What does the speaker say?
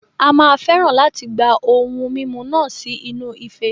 A máa fẹ́ràn láti gba ohun mímu náà sí inú ife.